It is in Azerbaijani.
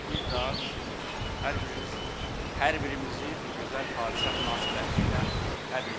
Bir daha sizin hər birinizi, hər birimizi bu gözəl hadisə münasibətilə təbrik edirəm.